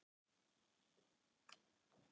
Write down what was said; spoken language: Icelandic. Rússar verða til